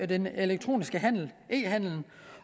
den elektroniske handel e handelen